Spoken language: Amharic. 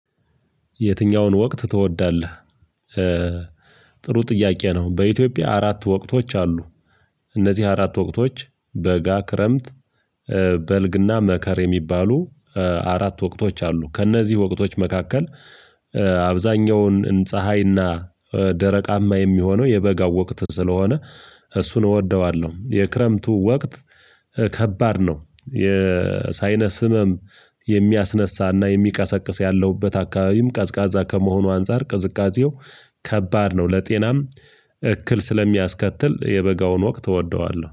የትኛውን ወቅት ትወዳለህ? ጥሩ ጥያቄ ነው በኢትዮጵያ አራት ወቅቶች አሉ። እነዚህ አራት ወቅቶች በጋ ክረምት በልግና መከር የሚባሉ አራት ወቅቶች አሉ። ከእነዚህ ወቅቶች መካከል አብዛኛውን ፀሀይና ደረቃማ የሚሆነው የበጋው ወቅት ስለሆነ እሱን እወደዋለሁ። የክረምቱ ወቅት ከባድ ነው የሳይነስ ህመም የሚያስነሳና የሚቀሰቅስ ያለሁበት አካባቢም ቀዝቃዛ ከመሆኑ አንፃር ቅዝቃዜው ከባድ ነው። ለጤናም እክል ስለሚያስከትል የበጋውን ወቅት እወደዋለሁ